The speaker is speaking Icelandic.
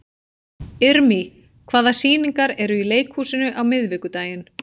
Irmý, hvaða sýningar eru í leikhúsinu á miðvikudaginn?